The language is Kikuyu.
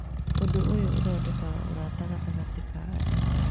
Ũndũ ũyũ ũthondekaga ũrata gatagatĩ ka andũ.